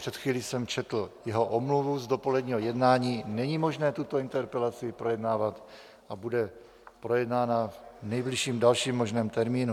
Před chvílí jsem četl jeho omluvu z dopoledního jednání, není možné tuto interpelaci projednávat a bude projednána v nejbližším dalším možném termínu.